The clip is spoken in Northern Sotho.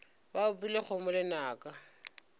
ba opile kgomo lenaka ge